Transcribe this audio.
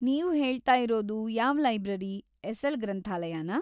ನೀವು ಹೇಳ್ತಾ ಇರೋದು ಯಾವ್ ಲೈಬ್ರರಿ, ಎಸ್.‌ಎಲ್.‌ ಗ್ರಂಥಾಲಯನಾ?